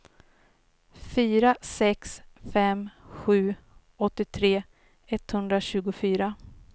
fyra sex fem sju åttiotre etthundratjugofyra